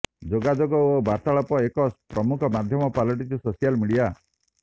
ଯୋଗାଯୋଗ ଓ ବାର୍ତ୍ତଳାପର ଏକ ପ୍ରମୁଖ ମାଧ୍ୟମ ପାଲଟିଛି ସୋସିଆଲ ମିଡିଆ